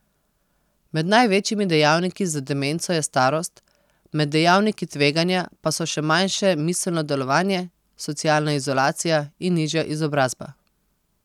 Med največjimi dejavniki za demenco je starost, med dejavniki tveganja pa so še manjše miselno delovanje, socialna izolacija in nižja izobrazba.